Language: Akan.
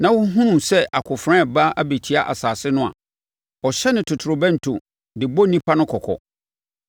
na ɔhunu sɛ akofena reba abɛtia asase no a, ɔhyɛne totorobɛnto de bɔ nnipa no kɔkɔ.